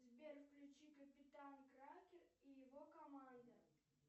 сбер включи капитан кракен и его команда